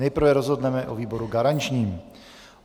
Nejprve rozhodneme o výboru garančním.